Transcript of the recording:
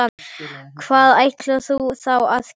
Hvað ætlarðu þá að gera?